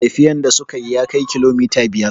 Tafiyan da suka yi ya kai kilomita biyar